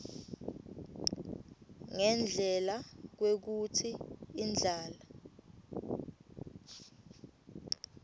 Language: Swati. ngendlela kwekutsi indlala